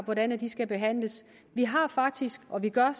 hvordan de skal behandles vi har faktisk og det gør